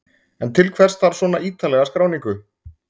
En til hvers þarf svona ítarlega skráningu?